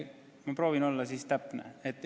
Ma proovin siis täpne olla.